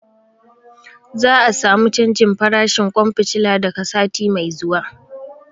Za a samu canjin farashin ƙwan fitila daga sati mai zuwa.